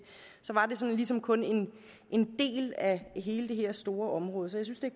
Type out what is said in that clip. ligesom kun en del af hele det her store område så jeg synes det